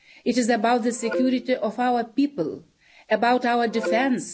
It is about the security of our people, about our defence.